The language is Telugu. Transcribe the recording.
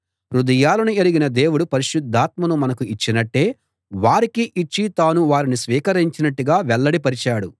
హృదయాలను ఎరిగిన దేవుడు పరిశుద్ధాత్మను మనకు ఇచ్చినట్టే వారికీ ఇచ్చి తాను వారిని స్వీకరించినట్టుగా వెల్లడి పరిచాడు